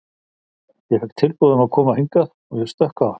Ég fékk tilboð um að koma hingað og ég stökk á það.